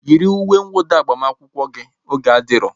Yiri uwe nwụda agbamakwụkwọ gị! oge adiro